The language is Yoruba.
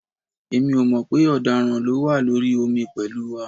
Èmi ò mọ̀ pé ọ̀daràn ló wà lórí omi pẹ̀lú wa